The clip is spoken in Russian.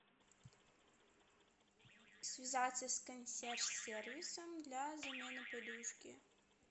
связаться с консьерж сервисом для замены подушки